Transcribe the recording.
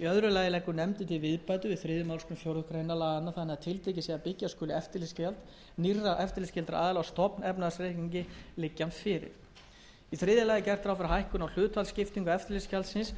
í öðru lagi leggur nefndin til viðbætur við þriðju málsgrein fjórðu grein laganna þannig að tiltekið sé að byggja skuli eftirlitsgjald nýrra eftirlitsskyldra aðila á stofnefnahagsreikningi liggi hann fyrir í þriðja lagi er gert ráð fyrir hækkun á hlutfallsskiptingu eftirlitsgjaldsins